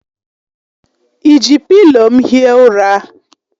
I ji pịlo m hie ụra?